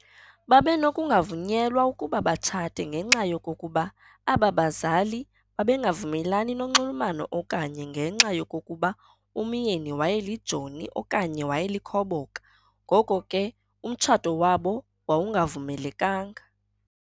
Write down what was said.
Babenokungavunyelwa ukuba batshate ngenxa yokokuba ababazali babengavumelani nonxulumano okanye ngenxa yokokuba umyeni wayelijoni okanye wayelikhoboka, ngoko ke umtshato wabo wawungavumelekanga.